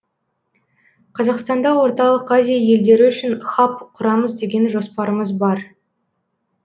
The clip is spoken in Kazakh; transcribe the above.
қазақстанда орталық азия елдері үшін хаб құрамыз деген жоспарымыз бар